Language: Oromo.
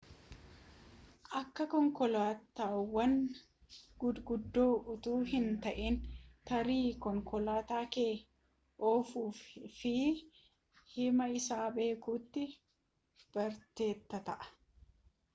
akka konkolaataawwan guguddoo utuu hin ta'in tarii konkolaataa kee ofuufii fi hamma isaa beekuutti barteetta ta'a